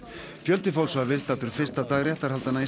fjöldi fólks var viðstatt fyrsta dag réttarhaldanna